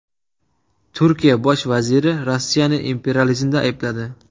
Turkiya bosh vaziri Rossiyani imperializmda aybladi .